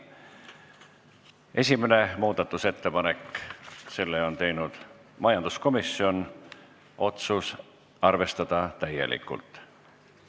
Esimene muudatusettepanek, selle on teinud majanduskomisjon, otsus: arvestada täielikult.